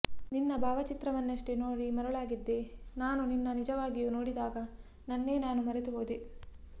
ನಿನ್ನ ಭಾವಚಿತ್ರವನ್ನಷ್ಟೇ ನೋಡಿ ಮರುಳಾಗಿದ್ದ ನಾನು ನಿನ್ನ ನಿಜವಾಗಿಯೂ ನೋಡಿದಾಗ ನನ್ನೇ ನಾನು ಮರೆತು ಹೋದೆ